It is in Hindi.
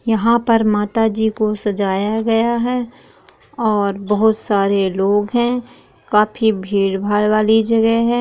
यहाँ पर माता जी को सजाया गया है और बहुत सारे लोग है काफी भीड़ - भाड़ वाली जगह है ।